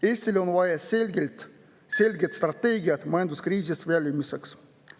Eestil on vaja selget strateegiat majanduskriisist väljumiseks.